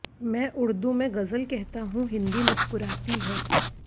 मैं उर्दू में गज़ल कहता हूं हिंदी मुसकुराती है